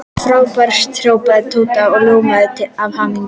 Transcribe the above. Frábært hrópaði Tóti og ljómaði af hamingju.